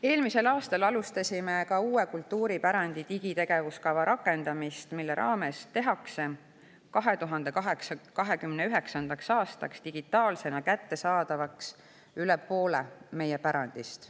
Eelmisel aastal alustasime ka kultuuripärandi uue digitegevuskava rakendamist, mille raames tehakse 2029. aastaks digitaalsena kättesaadavaks üle poole meie pärandist.